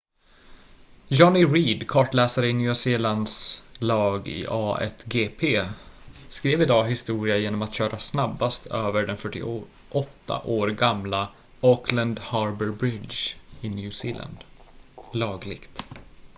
jonny reid kartläsare i nya zeelands lag i a1gp skrev idag historia genom att köra snabbast över den 48 år gamla auckland harbour bridge i nya zeeland lagligt